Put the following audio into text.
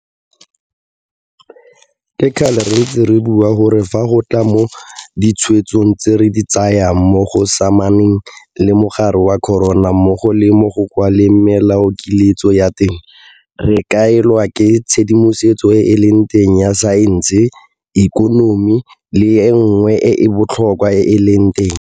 Ke kgale re ntse re bua gore fa go tla mo ditshwetsong tse re di tsayang mo go samaganeng le mogare wa corona mmogo le mo go kwaleng melaokiletso ya teng, re kaelwa ke tshedimosetso e e leng teng ya saense, ikonomi le e nngwe e e botlhokwa e e leng teng.